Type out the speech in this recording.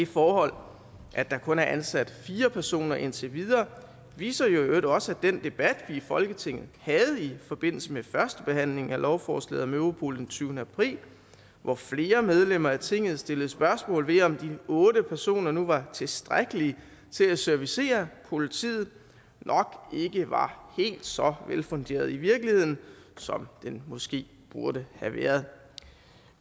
forhold at der kun er ansat fire personer indtil videre viser jo i øvrigt også at den debat vi i folketinget havde i forbindelse med førstebehandlingen af lovforslaget om europol den tyvende april hvor flere medlemmer af tinget stillede spørgsmål ved om de otte personer nu var tilstrækkeligt til at servicere politiet nok ikke var helt så velfunderet i virkeligheden som den måske burde have været